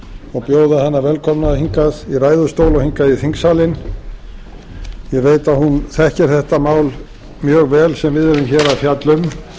og bjóða hana velkomna hingað í ræðustól og hingað í þingsalinn ég veit að hún þekkir þetta mál mjög vel sem við erum hér að fjalla um